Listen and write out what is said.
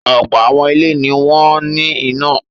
Ọ̀pọ̀ àwọn ilé ni wọ́n ní iná.